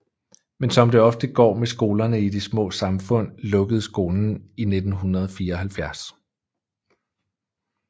Men som det ofte går med skolerne i de små samfund lukkede skolen i 1974